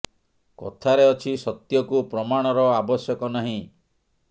କଥାରେ ଅଛି ସତ୍ୟ କୁ ପ୍ରମାଣ ର ଆବଶ୍ୟକ ନାହିଁ